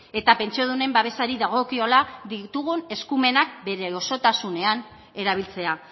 eta pentsiodunen babesari dagokiola ditugun eskumenak bere osotasunean erabiltzea